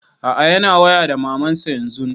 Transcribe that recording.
A'a yana waya da maman sa yanzun